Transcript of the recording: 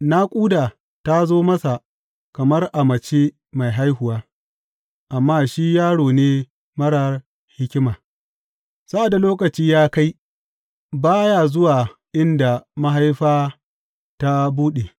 Naƙuda ta zo masa kamar a mace mai haihuwa, amma shi yaro ne marar hikima; sa’ad da lokaci ya kai, ba ya zuwa inda mahaifa ta buɗe.